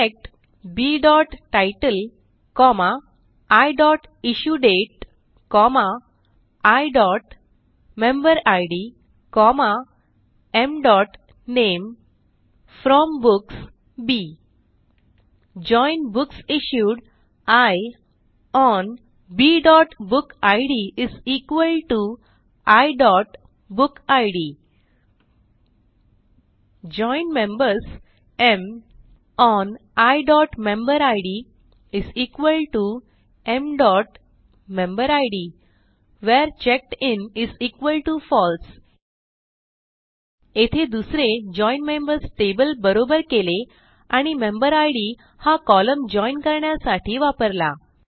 select b title comma i issue date i member id m name from books b join books issued i on b book id i book id join members m on i member id m member id where checked in false येथे दुसरे join members table बरोबर केले आणि member id हा column join करण्यासाठी वापरला